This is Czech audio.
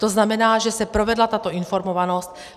To znamená, že se provedla tato informovanost.